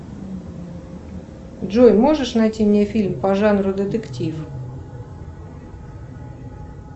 джой можешь найти мне фильм по жанру детектив